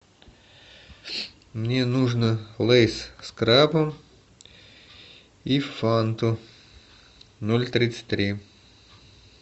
мне нужно лейс с крабом и фанту ноль тридцать три